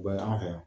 U bɛ an fɛ yan